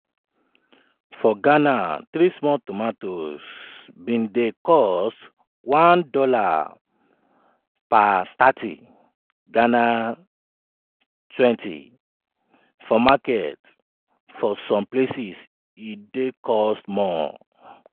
for ghana three small tomatoes bin dey cost $1.30 (gh ¢ 20) for market for some places e dey cost more.